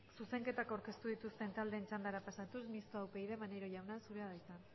zuzenketak aurkeztu dituzten taldeen txandara pasatuz mistoa upyd maneiro jauna zurea da hitza